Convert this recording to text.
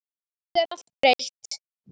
Samt er allt breytt.